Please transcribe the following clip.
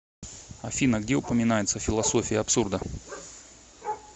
афина где упоминается философия абсурда